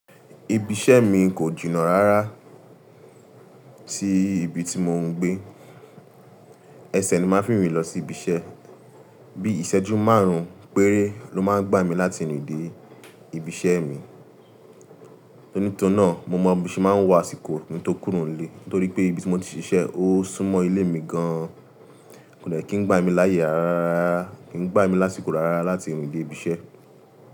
Ibi iṣẹ́ mi kò jìnnà rá rà sinibi tí mò ń gbé. Ẹsẹ̀ ni màá fi n rìn lọ sí ibi iṣẹ́. Bí ìṣẹ́jú márùn-ún péré ló máa ń gbá mi láti rìn dé ibi iṣẹ́ mi. Nítorí náà mo mọ bi n se màá ń wo asìkò tó kúrò nílé. Nítorí pé ibi tí mò ti ṣiṣẹ́ ó súmọ́ ilé mi gan-an. Kò de kí n gbá mi láyé á rá rà, kí n gbá mi lásìkò á rá rà láti rìn dé ibi iṣẹ́